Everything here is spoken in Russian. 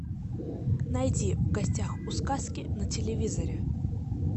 найди в гостях у сказки на телевизоре